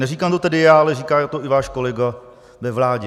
Neříkám to tady já, ale říká to i váš kolega ve vládě.